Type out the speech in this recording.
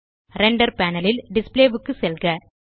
render panel ல் display க்கு செல்க